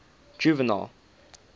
juvenal